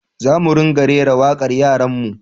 Za mu ringa rera wakar yaran mu